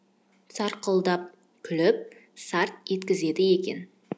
сарқылдап күліп сарт еткізеді екен